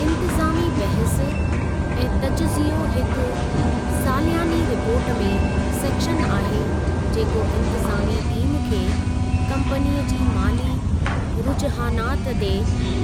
इन्तिज़ामी बहसु ऐं तजज़ियो हिकु सालियानी रिपोर्ट में सेक्शन आहे जेको इन्तिज़ामी टीम खे कम्पनीअ जी माली रुजहानात ते